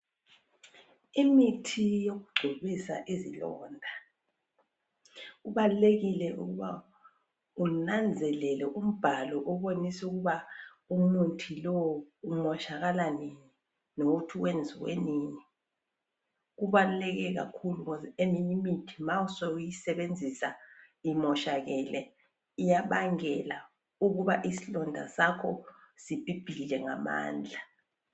Imithi yokugcobisa izilonda kubalulekile ukuba unanzelele umbhalo obonisa ukuba umuthi lo umoshakala nini lokuthi wenziwe nini, kubalulekile kakhulu khozi eminye imithi ma suyisebenzisa imoshakele iyabangela ukubana isilonda sakho sibhibhidle ngamandla.